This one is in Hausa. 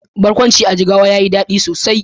Barkwancin Dan a Jigawa yayi dadi sosai.